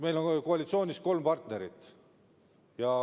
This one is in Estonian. Meil on koalitsioonis ju kolm partnerit.